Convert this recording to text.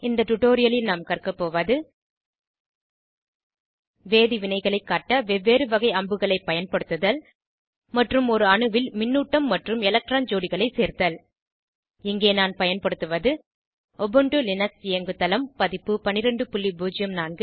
இந்த டுடோரியலில் நாம் கற்க போவது வேதி வினைகளை காட்ட வெவ்வேறு வகை அம்புகளை பயன்படுத்துதல் மற்றும் ஒரு அணுவில் மின்னூட்டம் மற்றும் எலக்ட்ரான் ஜோடிகளை சேர்த்தல் இங்கே நான் பயன்படுத்துவது உபுண்டு லினக்ஸ் இயங்குதளம் பதிப்பு 1204